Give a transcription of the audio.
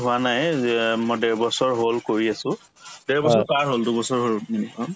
হোৱা নাই যে অ মোৰ ডেৰ বছৰ হল কৰি আছো ডেৰ বছৰ পাৰ হল দুবছৰ হল উম